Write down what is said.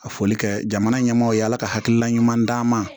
A foli kɛ jamana ɲɛmaaw ye ala ka hakilina ɲuman d'an ma